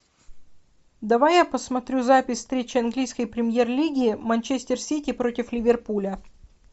давай я посмотрю запись встречи английской премьер лиги манчестер сити против ливерпуля